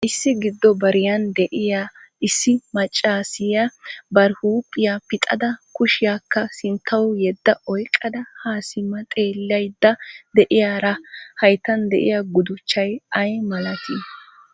Issi giddo bariyaan de'iyaa issi maccassiya bari huphiya pixxada kushiyaakka sinttaw yedda oyqqada ha simma xeellaydda de'iyaari hayttan de'iyaa guttuchay ay malatii?